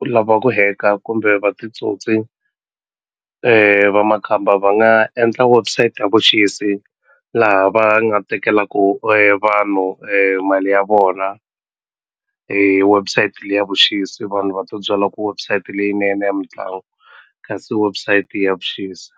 u lava ku hack-a kumbe va titsotsi va makhamba va nga endla website ya vuxisi laha va nga tekelaku vanhu mali ya vona hi website le ya vuxisi vanhu va ti byela ku website leyinene ya mitlangu kasi website ya vuxisi.